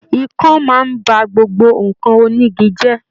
Ikán máa n ba gbogbo nkan onígí jẹ.